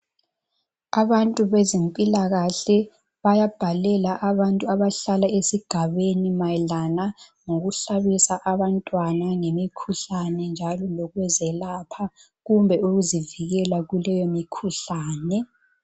Abantu bezimpilakahle bayabhalela abantu abahlala esigabeni mayelana ngokuhlabisa abantwana ngemikhuhlane njalo lokuzelapha kumbe ukuzivikela kuleyo mikhuhlane.